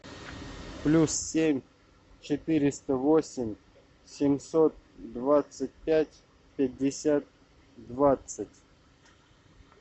плюс семь четыреста восемь семьсот двадцать пять пятьдесят двадцать